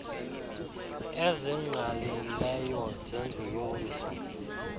ezingqalileyo zendlu yowiso